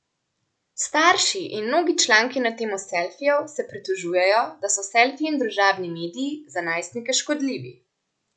Starši in mnogi članki na temo selfijev se pritožujejo, da so selfiji in družbeni mediji za najstnike škodljivi.